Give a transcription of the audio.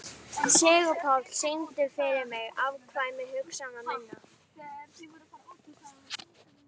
Sigurpáll, syngdu fyrir mig „Afkvæmi hugsana minna“.